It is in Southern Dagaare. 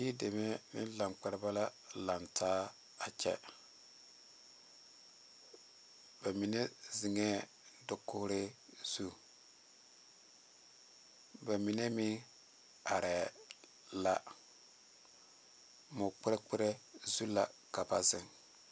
Die deme ne lankpɛrebɛ la lantaa a kyɛ ba mine zeŋe dakogri zu ba mine meŋ are la moɔ kpre kpre zu la ka ba zeŋ.